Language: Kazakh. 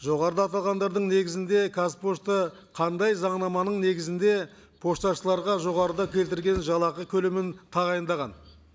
жоғарыда аталғандардың негізінде қазпошта қандай заңнаманың негізінде пошташыларға жоғарыда келтірген жалақы көлемін тағайындаған